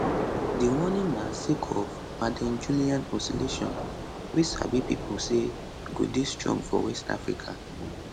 di warning na sake of maddenjullian oscillation wey sabi pipo say go dey strong for west africa